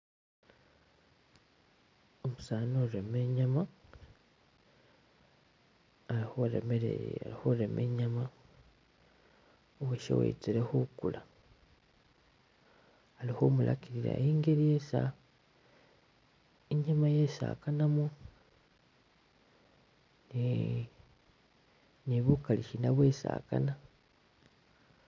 Umusani urema inyama ali khurema inyama , uwoshe uw'etsele khukula ali khumulakilila ingeli esi inyama esi akanamo ne bukali sina bwesi akana mo.